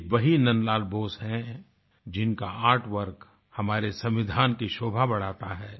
ये वही नन्द लाल बोस है जिनका आर्ट वर्क हमारे संविधान की शोभा बढ़ाता है